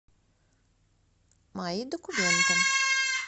мои документы